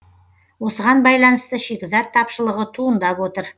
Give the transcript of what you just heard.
осыған байланысты шикізат тапшылығы туындап отыр